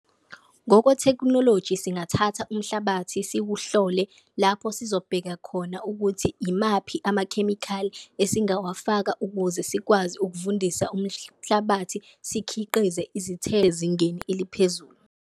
Ngokwethekhnoloji singathatha umhlabathi siwuhlole lapho sizobheka khona ukuthi imaphi amakhemikhali esingawafaka ukuze sikwazi ukuvundisa umhlabathi, sikhiqize izithezi ezingeni eliphezulu.